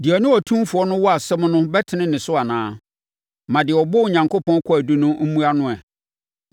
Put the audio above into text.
“Deɛ ɔne Otumfoɔ no wɔ asɛm no bɛtene ne so anaa? Ma deɛ ɔbɔ Onyankopɔn kwaadu no mmua no ɛ!”